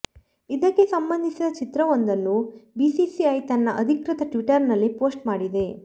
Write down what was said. ಇದಕ್ಕೆ ಸಂಬಂಧಿಸಿದ ಚಿತ್ರವೊಂದನ್ನು ಬಿಸಿಸಿಐ ತನ್ನ ಅಧಿಕೃತ ಟ್ವಿಟರ್ನಲ್ಲಿ ಪೋಸ್ಟ್ ಮಾಡಿದೆ